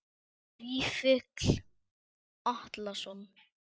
Vífill Atlason